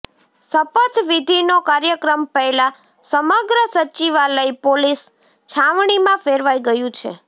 શપથ વિધિનો કાર્યક્રમ પહેલા સમગ્ર સચિવાલય પોલીસ છાવણીમાં ફેરવાઈ ગયું છે